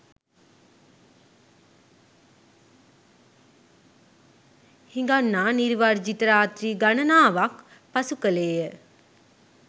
හිඟන්නා නිදි වර්ජිත රාත්‍රී ගණනාවක් පසු කළේය.